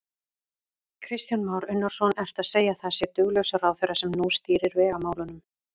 Kristján Már Unnarsson: Ertu að segja að það sé duglaus ráðherra sem nú stýrir vegamálunum?